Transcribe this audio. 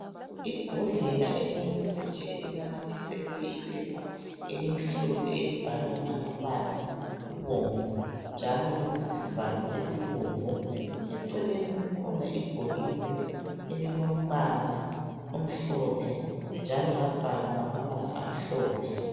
Ibhodlela elomuthi elinamathiselwe iphepha elimhlophe elibhalwe ngamabala abomvu njalo lilesivalo esibomvu eceleni kukhona ibhokisi elilombala omhlophe njalo labhalwa ngamabala amhlophe